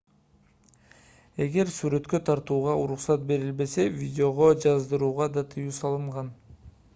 эгер сүрөткө тартууга уруксат берилбесе видеого жаздырууга да тыюу салынган